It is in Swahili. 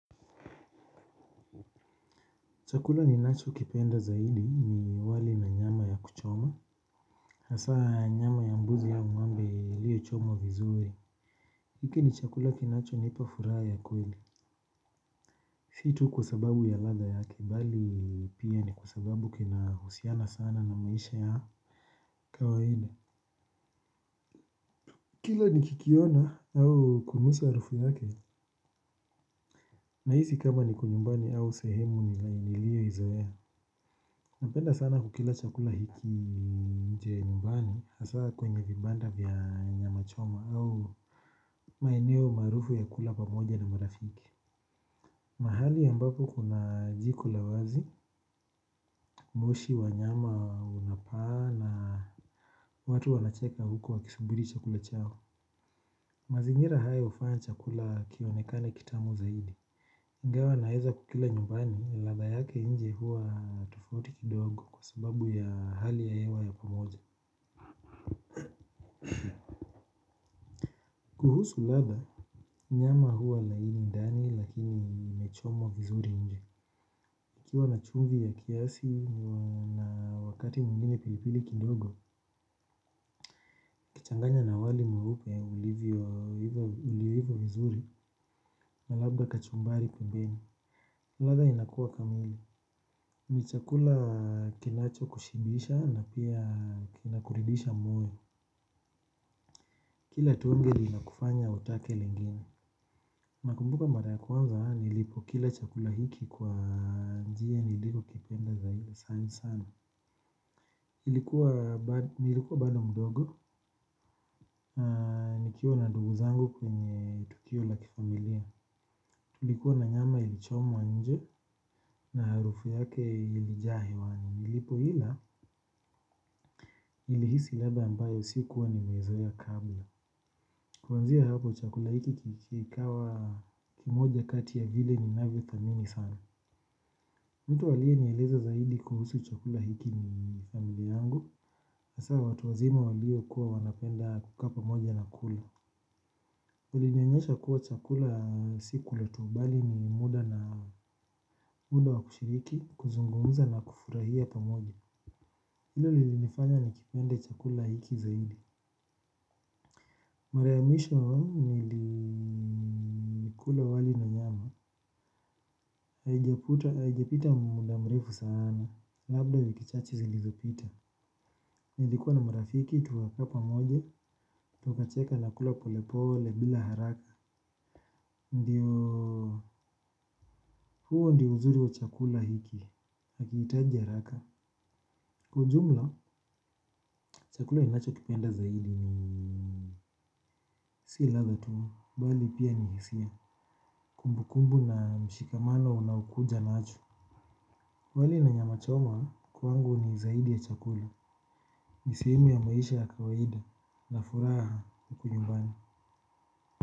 Chakula ninachokipenda zaidi ni wali na nyama ya kuchoma. Hasa nyama ya mbuzi au ngome iliyochomwa vizuri. Hiki ni chakula kinachonipa furaha ya kweli. Si tu kwa sababu ya ladha yake bali pia ni kwa sababu kinahusiana sana na maisha ya kawaida. Kila nikikiona au kunusa harufu yake. Nahisi kama niko nyumbani au sehemu niliyoizoea. Napenda sana kukila chakula hiki nje ya nyumbani hasa kwenye vibanda vya nyama choma au maeneo maarufu ya kula pamoja na marafiki. Mahali ambapo kuna jiko la wazi, moshi wa nyama unapaa na watu wanacheka huku wakisubiri chakula chao. Mazingira haya hufanya chakula kionekane kitamu zaidi. Ingawa naeza kukila nyumbani, ladha yake nje huwa tofauti kidogo kwa sababu ya hali ya hewa ya pamoja. Kuhusu ladha, nyama huwa laini ndani lakini imechomwa vizuri nje. ikiwa na chumvi ya kiasi na wakati mwingine pilipili kidogo, changanya na wali mweupe ulivyo uliiva vizuri na labda kachumbari pembeni. Ladha inakuwa kamili. Ni chakula kinachokushibisha na pia kinakuridhisha moyo. Kila tonge linakufanya utake lingine. Nakumbuka mara ya kwanza, nilipokila chakula hiki kwa njia nilikokipenda zaidi sana sana. Nilikuwa bado mdogo, nikiwa na ndugu zangu kwenye tukio la kifamilia. Tulikuwa na nyama ilichomwa nje na harufu yake ilijaa hewani. Nilipoila, nilihisi ladha ambayo sikuwa nimeizoea kabla. Kwanzia hapo chakula hiki kikawa kimoja kati ya vile ninavyothamini sana. Mtu aliyenieleza zaidi kuhusu chakula hiki ni familia yangu hasa watu wazima waliokuwa wanapenda kukaa pamoja na kula kulionyesha kuwa chakula si kula tu bali ni muda wa kushiriki kuzungumza nakufurahia pamoja hilo lilinifanya nikipende chakula hiki zaidi. Mara ya mwisho nilikula wali na nyama. Haijapita muda mrefu sana. Labda wiki chache zilizopita. Nilikuwa na marafiki tukakaa pamoja, tukacheka na kula polepole bila haraka ndio, huo ndio uzuri wa chakula hiki hakihitaji haraka kwa ujumla, chakula ninachokipenda zaidi ni si ladha tu, bali pia ni hisia, kumbukumbu na mshikamano unaokuja nacho. Wali na nyama choma, kwangu ni zaidi ya chakula ni sehemu ya maisha ya kawaida, na furaha ya huku nyumbani.